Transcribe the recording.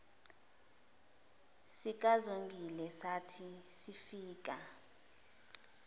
sikazongile sathi sifika